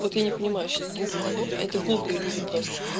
я не понимаю что таких людей а это глупые люди просто